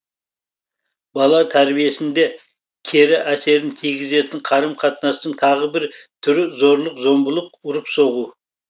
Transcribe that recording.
бала тәрбиесінде кері әсерін тигізетін қарым қатынастың тағы бір түрі зорлық зомбылық ұрып соғу